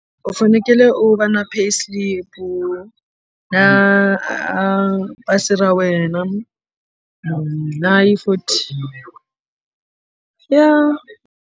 U fanekele u va na pay slip u na a pasi ra wena na hi forty ya.